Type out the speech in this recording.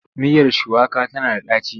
Miyar shuwaka tana da ɗaci.